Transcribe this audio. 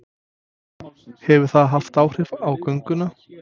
Hefur það haft áhrif á gönguna?